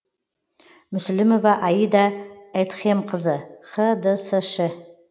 мүсілімова аида эдхемқызы хдсш і